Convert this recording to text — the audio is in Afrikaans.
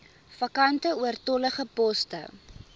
vakante oortollige poste